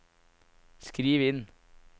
skriv inn